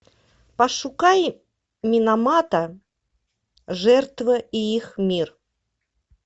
пошукай миномата жертвы и их мир